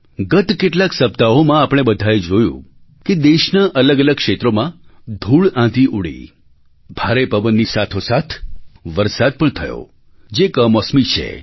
ગત કેટલાંક સપ્તાહોમાં આપણે બધાએ જોયું કે દેશનાં અલગઅલગ ક્ષેત્રોમાં ધૂળઆંધી ઊડી ભારે પવનની સાથોસાથ વરસાદ પણ થયો જે કમોસમી છે